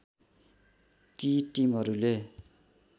ती टिमहरूले